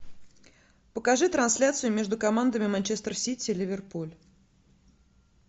покажи трансляцию между командами манчестер сити ливерпуль